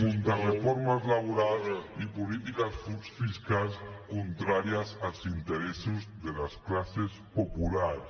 contrareformes laborals i polítiques fiscals contràries als interessos de les classes populars